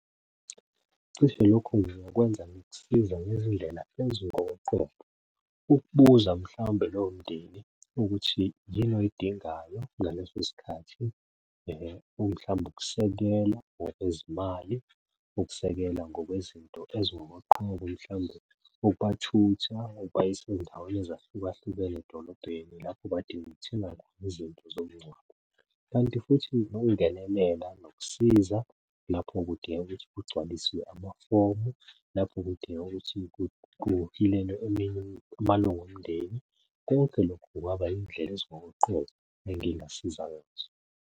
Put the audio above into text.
Cishe lokhu ngingakwenza ngokusiza ngezindlela ezingokoqobo. Ukubuza mhlawumbe lowo mndeni ukuthi yini oyidingayo ngaleso sikhathi. Mhlawumbe ukusekelwa ngokwezimali, ukusekela ngokwezinto ezingokoqobo, mhlawumbe ukubathutha ubayise ey'ndaweni ezahlukahlukene edolobheni lapho badinga ukuthenga khona izinto zomngcwabo. Kanti futhi nokungenelela nokusiza lapho kudingeka ukuthi kugcwaliswe amafomu, lapho kudingeka ukuthi kuhilelwe amalunga omndeni. Konke lokho kungaba iy'ndlela ezingokoqobo engingasiza ngazo.